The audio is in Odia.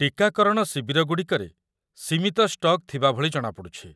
ଟୀକାକରଣ ଶିବିରଗୁଡ଼ିକରେ ସୀମିତ ଷ୍ଟକ୍ ଥିବା ଭଳି ଜଣାପଡ଼ୁଛି।